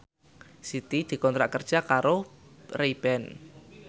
Siti dikontrak kerja karo Ray Ban